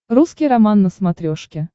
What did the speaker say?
русский роман на смотрешке